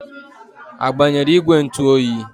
A gbanyere ìgwè ntụ oyi?